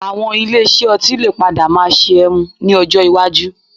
Àwọn ilé iṣẹ́ ọtí lè padà máa ṣe ẹmu ní ọjọ́ iwájú